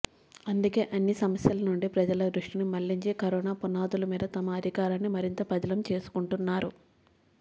అందుకే అన్ని సమస్యల నుండి ప్రజల దృష్టిని మల్లించి కరోనా పునాదుల మీద తమ అధికారాన్ని మరింత పదిలం చేసుకుంటున్నారు